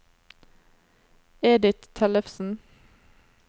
Edith Tellefsen